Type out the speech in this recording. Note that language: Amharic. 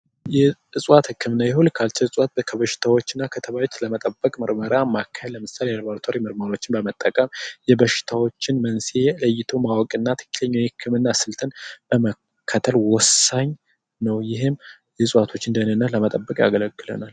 የእጽዋት ህክምና የሆልቲካልቸር እፅዋት ከበሽታዎችና ከተባዮች ለመጠበቅ ምርመራ ማከል ለምሳሌ ለላብራቶሪ ምርመራዎችን በመጠቀም የበሽታዎችን መንስኤ ለይቶ ማወቅና ትክክለኛው የህክምና ስልትን በመከተል ወሳኝ ነው ይህም የእጽዋትን ደህንነት ለመጠበቅ ያገለግለናል።